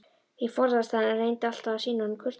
Ég forðaðist hann, en reyndi alltaf að sýna honum kurteisi.